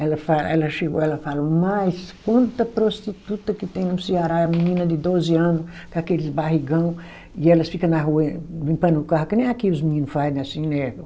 Ela fa, ela chegou, ela falou, mas quanta prostituta que tem no Ceará, é uma menina de doze ano, com aqueles barrigão, e elas fica na rua eh limpando carro, que nem aqui os menino faz assim, né?